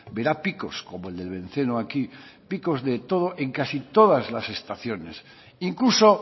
verá picos como el del benceno aquí picos de todo en casi todas las estaciones incluso